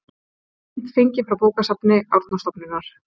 Mynd fengin frá bókasafni Árnastofnunar.